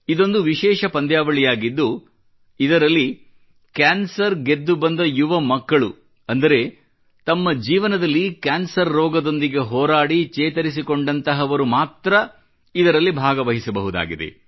ಇದೊಂದು ವಿಶೇಷ ಪಂದ್ಯಾವಳಿಯಾಗಿದ್ದು ಇದರಲ್ಲಿ ಕ್ಯಾನ್ಸರ್ ಗೆದ್ದುಬಂದ ಯುವ ಮಕ್ಕಳು ಅಂದರೆ ತಮ್ಮ ಜೀವನದಲ್ಲಿ ಕ್ಯಾನ್ಸರ್ ರೋಗದೊಂದಿಗೆ ಹೋರಾಡಿ ಚೇತರಿಸಿಕೊಂಡಂತಹವರು ಮಾತ್ರ ಇದರಲ್ಲಿ ಭಾಗವಹಿಸಬಹುದಾಗಿದೆ